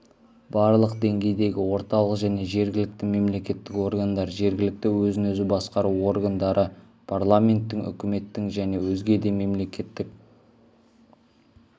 барлық деңгейдегі орталық және жергілікті мемлекеттік органдар жергілікті өзін-өзі басқару органдары парламенттің үкіметтің және өзге де мемлекеттік